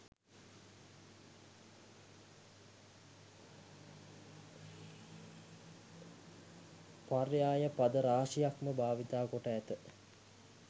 පර්යාය පද රාශියක්ම භාවිතා කොට ඇත.